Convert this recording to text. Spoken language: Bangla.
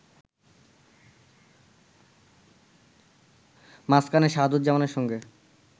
মাঝখানে শাহাদুজ্জামানের সঙ্গে